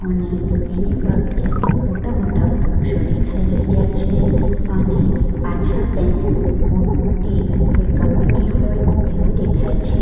ને એની ફરતે મોટા મોટા વૃક્ષો ડેખાઈ રહ્યા છે અને પાછળ કંઈક મોટી કોઈ કંપની હોય એવુ ડેખાય છે.